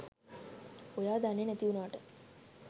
ඔයා දන්නෙ නැති වුණාට